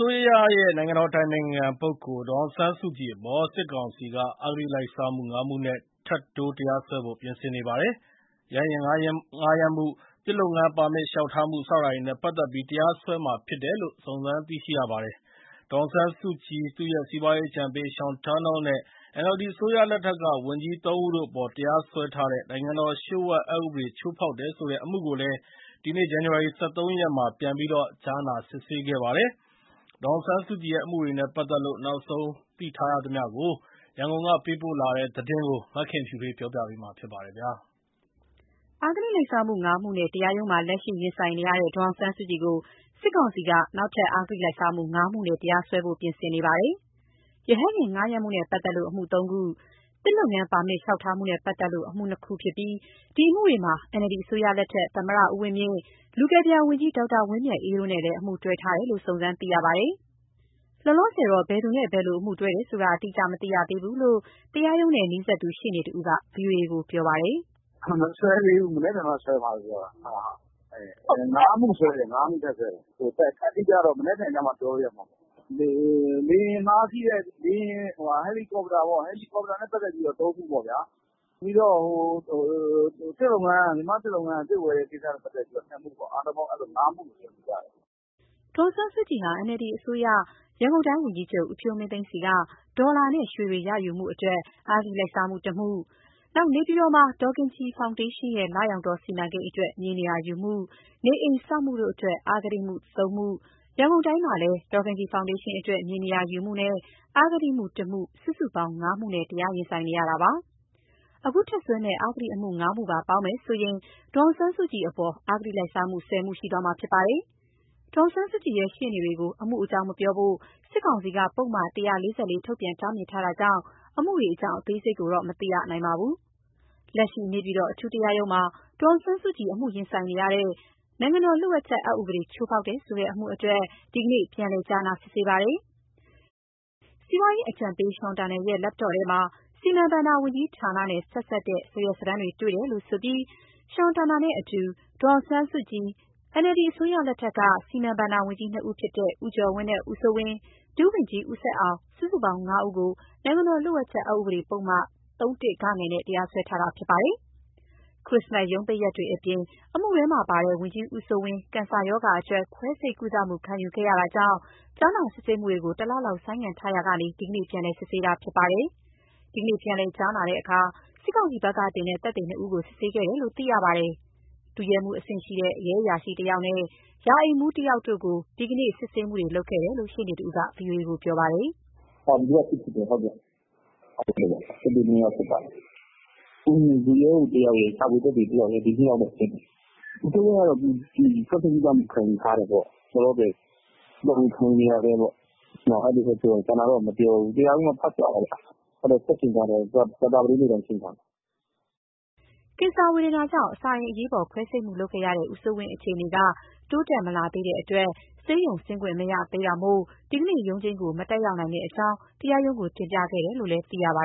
ိုးရရဲ့ နိုင်ငံတော်အတိုင်ပင်ခံပုဂ္ဂိုလ် ဒေါ်အောင်ဆန်းစုကြည်အပေါ် စစ်ကောင်စီက အဂတိလိုက်စားမှု ၅ မှုနဲ့ ထပ်တိုး တရားစွဲဖို့ပြင်ဆင်နေပါတယ်။ ရဟတ်ယာဉ် ငှားရမ်းမှု၊ သစ်လုပ်ငန်းပါမစ် လျှောက်ထားမှု စတာတွေနဲ့ပတ်သက်ပြီး တရားစွဲမှာ ဖြစ်တယ်လို့ စုံစမ်းသိရှိရပါတယ်။ ဒေါ်အောင်ဆန်းစုကြည်၊ သူ့ရဲ့စီးပွားရေးအကြံပေး Sean Turnell နဲ့ NLD အစိုးရလက်ထက်က ဝန်ကြီးသုံးဦးတို့အပေါ် တရားစွဲထားတဲ့ နိုင်ငံတော်လျှို့ဝှက်အက်ဥပဒေ ချိုးဖောက်တယ်ဆိုတဲ့ အမှုကိုလည်း ဒီနေ့ ဇန်နဝါရီ ၁၃ ရက်မှာ ပြန်ပြီး ကြားနာစစ်ဆေးခဲ့ပါတယ်။ ဒေါ်အောင်ဆန်းစုကြည်ရဲ့ အမှုတွေနဲ့ပတ်သက်လို့ နောက်ဆုံးသိထားရသမျှရန်ကုန်ကလာတဲ့သတင်းကို မခင်ဖြူထွေးက တင်ပြပေးထားပါတယ်။ အဂတိလိုက်စားမှု ၅ မှုနဲ့ တရားရုံးမှာ လက်ရှိရင်ဆိုင်နေရတဲ့ ဒေါ်အောင်ဆန်းစုကြည်ကို စစ်ကောင်စီက နောက်ထပ် အဂတိလိုက်စားမှု ၅ မှုနဲ့ တရားစွဲဖို့ ပြင်ဆင်နေတာပါ။ ရဟတ် ယာဉ်ငှားရမ်းမှုနဲ့ပတ်သက်လို့ အမှု ၃ ခု၊ သစ်လုပ်ငန်းပါမစ် လျှောက်ထားမှုနဲ့ပတ်သက်လို့ အမှု ၂ ခု ဖြစ်ပြီး ဒီအမှုတွေမှာ NLD အစိုးရလက်ထက် သမ္မတဦးဝင်းမြင့်၊ လူကယ်ပြန်ဝန်ကြီး ဒေါက်တာဝင်းမြတ်အေးတို့နဲ့လည်း အမှုတွဲထားတယ်လို့ စုံစမ်းသိရပါတယ်။ လောလောဆယ်တော့ ဘယ်သူနဲ့ ဘယ်လို အမှုတွဲတယ်ဆိုတာ အတိအကျ မသိရသေးဘူးလို့ တရားရုံးနဲ့နီးစပ်သူ ရှေ့နေတဦးကတော့ ဗွီအိုအေကိုပြောပြပါတယ်။ “မစွဲသေးဘူး။ မနက်ဖြန်မှစွဲမယ်ကြားတယ်။ ၅ မှုထပ်စွဲတယ်။ အတိအကျကတော့ မနက်ဖြန်မှပြောလို့ ရမှာပေါ့၊ ဟယ်လီကော်ပတာနဲ့ပတ်သတ်ပြီး ၃ မှုပါ့ဗျာ။ ပြီးတော့ မြန်မာ့သစ်လုပ်ငန်းက သစ်ဝယ်တာနဲ့ပတ်သက်လို့ ၂ မှုပေါ့။ ၅ မှုလို့ကြားတယ်။” ဒေါ်အောင်ဆန်းစုကြည်ဟာ NLD အစိုးရ ရန်ကုန်တိုင်းဝန်ကြီးချုပ် ဦးဖြိုးမင်းသိန်းဆီက ဒေါ်လာနဲ့ရွှေတွေ ရယူမှုအတွက် အဂတိ လိုက်စားမှု ၁ မှု၊ နေပြည်တော်မှာ ဒေါ်ခင်ကြည်ဖောင်ဒေးရှင်းရဲ့ လရောင်တောစီမံကိန်းအတွက် မြေနေရာယူမှု၊ နေအိမ်ဆောက်မှုတို့အတွက် အဂတိမှု ၃ မှု၊ ရန်ကုန်တိုင်းမှာလည်း ဒေါ်ခင်ကြည်ဖောင်ဒေးရှင်းအတွက် မြေနေရာယူမှုနဲ့ အဂတိအမှု ၁ မှု စုစုပေါင်း ၅ မှုနဲ့တရားရင်ဆိုင်နေရတာပါ။ အခုထပ်စွဲမယ့် အဂတိအမှု ၅ မှုပါပေါင်းမယ်ဆိုရင် ဒေါ်အောင်ဆန်းစုကြည်အပေါ် အဂတိလိုက်စားမှု ၁၀ မှု ရှိသွားမှာဖြစ်ပါတယ်။ ဒေါ်အောင်ဆန်းစုကြည်ရှေ့နေတွေကို အမှုအကြောင်းမပြောဖို့ စစ်ကောင်စီက ပုဒ်မ ၁၄၄ ထုတ်ပြန်တားမြစ်ထားတာကြောင့် အမှုတွေအကြောင်းအသေးစိတ်ကိုတော့ မသိရနိုင်ပါဘူး။ လက်ရှိ နေပြည်တော်အထူးတရားရုံးမှာ ဒေါ်အောင်ဆန်းစုကြည် အမှုရင်ဆိုင်နေရတဲ့ နိုင်ငံတော်လျှို့ဝှက်အက်ဥပဒေ ချိုးဖောက်တယ်ဆိုတဲ့ အမှုအတွက် ဒီနေ့ ပြန်လည်ကြားနာစစ်ဆေး ပါတယ်။ စီးပွားရေးအကြံပေး Sean Turnell ရဲ့ Laptop ထဲမှာ စီမံဘဏ္ဍာဝန်ကြီးဌာနနဲ့ ဆက်စပ်တဲ့ စာရွက်စာတမ်းတွေ့တယ်လို့ဆိုပြီး Sean Turnell နဲ့အတူ ဒေါ်အောင်ဆန်းစုကြည်၊ NLD အစိုးရလက်ထက်က စီမံဘဏ္ဍာဝန်ကြီး နှစ်ဦးဖြစ်တဲ့ ဦးကျော်ဝင်းနဲ့ ဦးစိုးဝင်း၊ ဒုဝန်ကြီး ဦးဆက်အောင် စုစုပေါင်း ၅ ဦးကို နိုင်ငံတော်လျှို့ဝှက်ချက်အက်ဥပဒေပုဒ်မ ၃-၁ (ဂ) နဲ့ တရားစွဲဆိုထားတာ ဖြစ်ပါတယ်။ ခရစ္စမတ်ရုံးပိတ်ရက်တွေအပြင် အမှုတွဲမှာပါတဲ့ ဝန်ကြီးဦးစိုးဝင်း ကင်ဆာရောဂါအတွက် ခွဲစိတ်ကုသမှုခံယူခဲ့ရတာကြောင့် ကြားနာစစ်ဆေးမှုတွေ တလလောက် ဆိုင်းထားရာကနေ ဒီနေ့ပြန်လည် စစ်ဆေးတာဖြစ်ပါတယ်။ ဒီနေ့ပြန်လည် ကြားနာတဲ့အခါ စစ်ကောင်စီဘက်ကတင်တဲ့ သက်သေနှစ်ဦးကို စစ်ဆေးခဲ့တယ်လို့သိရပါတယ်။ ဒုရဲမှုး အဆင့်ရှိတဲ့ ရဲအရာရှိတယောက်နဲ့ ရာအိမ်မှူးတယောက်တို့ကို ဒီကနေ့ စစ်ဆေးခဲ့တယ်လို့ ရှေ့နေတဦးက ဗွီအိုအေကို ပြောပြပါတယ်။ “ဒီနေ့က စစ်ဖြစ်တယ်။ သက်သေ ၂ ယောက်စစ်ပါတယ်။ ဒုရဲမှူးတယောက်ရယ် ရှာဖွေသက်သေ တယောက်ရယ် ဒီ ၂ ယောက်ကိုစစ်ပါတယ်။ ဦးစိုးဝင်းကတော့ လောလောဆယ် ခွဲစိတ်ကုသမှုခံယူထားတယ်ပေါ့။ လောလောဆယ် ခံယူဆဲပေါ့။ ကျန်တာတော့မပြောဘူး တရားရုံးကဖတ်ပြတာပေါ့နော်။ ရုံးချိန်းကဆက်ချိန်းထားတယ်။ ကြာသပတေးနေ့တိုင်းချိန်းထားတယ်။” ကင်ဆာဝေဒနာကြောင့် အစာအိမ်အရေးပေါ်ခွဲစိတ်မှုလုပ်ခဲ့ရတဲ့ ဦးစိုးဝင်းအခြေအနေက တိုးတက်မလာသေးတဲ့အတွက် ဆေးရုံဆင်းခွင့်မရသေးတာမို့ ဒီကနေ့ ရုံးချိန်းကို မတက်ရောက်နိုင်ကြောင်း တရားရုံးကိုတင်ပြခဲ့တယ်လို့ သိရပါ